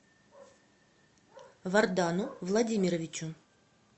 вардану владимировичу